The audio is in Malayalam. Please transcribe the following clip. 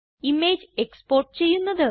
ഇമേജ് എക്സ്പോർട്ട് ചെയ്യുന്നത്